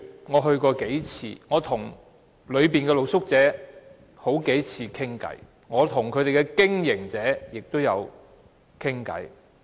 我到過那裏數次，與露宿者傾談了數次，亦與經營者傾談過。